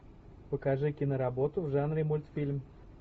покажи киноработу в жанре мультфильм